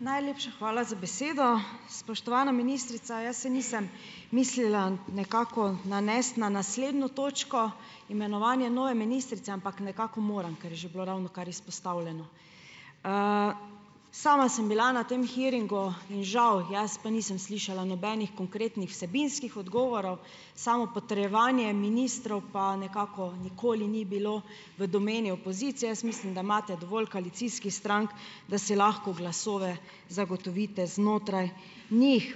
Najlepša hvala za besedo. Spoštovana ministrica, jaz se nisem mislila nekako nanesti na naslednjo točko, imenovanje nove ministrice, ampak nekako moram, ker je že bilo ravnokar izpostavljeno. Sama sem bila na tem hearingu in žal, jaz pa nisem slišala nobenih konkretnih vsebinskih odgovorov, samo potrjevanje ministrov pa nekako nikoli ni bilo v domeni opozicije, jaz mislim, da imate dovolj koalicijskih strank, da si lahko glasove zagotovite znotraj njih.